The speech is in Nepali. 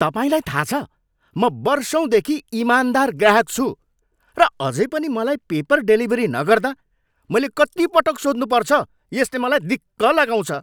तपाईँलाई थाह छ, म वर्षौँदेखि ईमानदार ग्राहक छु, र अझै पनि मलाई पेपर डेलिभरी नगर्दा मैले कत्ति पटक सोध्नुपर्छ यसले मलाई दिक्क लगाउँछ।